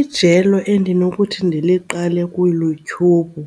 Ijelo endinokuthi ndiliqale kuYouTube